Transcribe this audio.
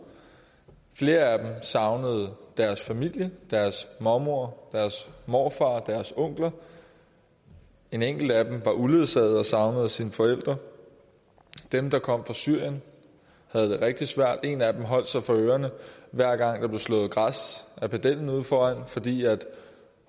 flere af dem savnede deres familie deres mormor deres morfar deres onkler en enkelt af dem var uledsaget og savnede sine forældre dem der kom fra syrien havde det rigtig svært en af dem holdt sig for ørerne hver gang der blev slået græs af pedellen ude foran fordi